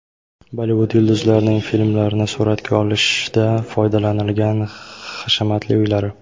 Bollivud yulduzlarining filmlarni suratga olishda foydalanilgan hashamatli uylari .